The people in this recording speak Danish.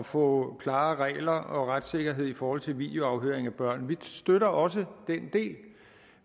få klare regler og retssikkerhed i forhold til videoafhøring af børn vi støtter også den del